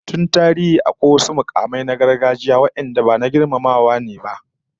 Tun tarihi, akwai wasu mukamai na gargajiya wadanda na girmamawa ne ba